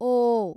ಓ